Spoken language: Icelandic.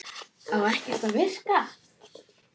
Á ekkert að virkja?